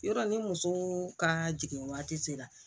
Yɔrɔ ni muso ka jigin waati sera